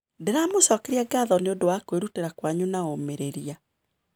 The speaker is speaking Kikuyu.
Nĩndamũcokeria ngatho nĩ ũndũ wa kwĩrutĩra kwanyu na ũmĩrĩria.